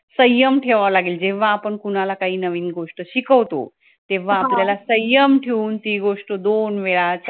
संयम ठेवावा लागेल जेव्हा आपण कुणाला काही नवीन गोष्ट शिकवतो तेव्हा आपल्याला संयम ठेवून ती गोष्ट दोन वेळा चार